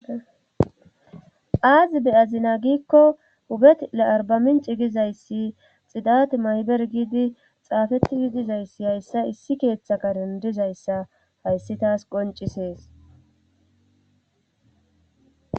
aazi be'azina giikko hubet le arbamin cigizayssi xidat mayber giidi xaafetigi dizayssi hayssa issi keeththa kadendizayssa hayssi taas qoncisees